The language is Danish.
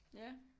Ja